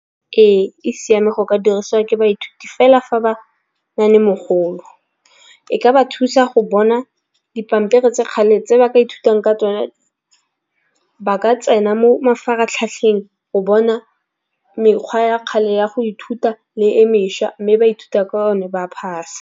Ee, e siame go ka dirisiwa ke baithuti fela fa ba nale mogolo. E ka ba thusa go bona dipampiri tsa kgale tse ba ka ithutang ka tsone ba ka tsena mo mafaratlhatlheng go bona mekgwa ya kgale ya go ithuta le e mešwa, mme ba ithuta ka one ba pass.